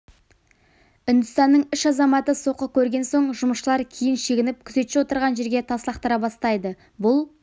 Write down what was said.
үндістанның үш азаматы соққы көрген соң жұмысшылар кейін шегініп күзетші отырған жерге тас лақтыра бастайды бұл